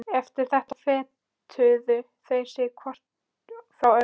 Eftir þetta fetuðu þeir sig hvor frá öðrum.